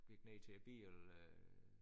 Gik ned til bilen øh